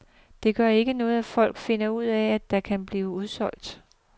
Det gør ikke noget, at folk finder ud af, at der kan blive udsolgt.